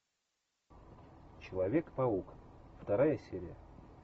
человек паук вторая серия